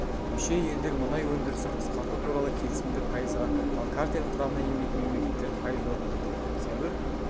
мүше елдер мұнай өндірісін қысқарту туралы келісімді пайызға ал картель құрамына енбейтін мемлекеттер пайыз орындады сәуір